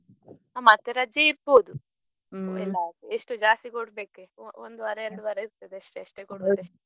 ಮತ್ತೆ ರಜೆ ಇರ್ಬೋದು ಎಷ್ಟು ಜಾಸ್ತಿ ಕೊಡ್ಬೇಕ ಇನ್ನು ಒಂದು ವಾರ ಎರಡು ವಾರ ಇರ್ತದೆ ಅಷ್ಟೆ ಅಷ್ಟೇ ಕೊಡುದು.